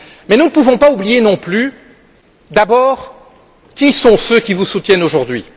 Mais nous ne pouvons pas oublier non plus d'abord qui sont ceux qui vous soutiennent aujourd'hui?